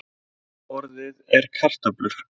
Fleirtöluorðið er karöflur.